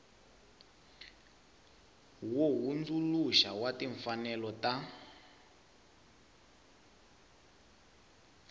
wo hundzuluxa wa timfanelo ta